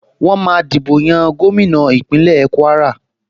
Wọ́n máa dìbò yan gómìnà Ìpínlẹ̀ Kúwárà